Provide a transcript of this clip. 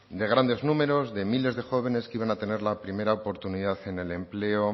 de grandes números de miles de jóvenes que iban a tener la primera oportunidad en el empleo